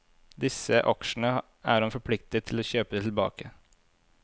Disse aksjene er han forpliktet til å kjøpe tilbake.